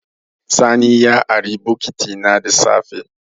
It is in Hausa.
Sani borrowed my bucket in the morning.